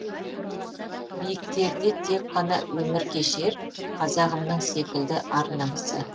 биіктерде тек қана өмір кешер қазағымның секілді ар намысы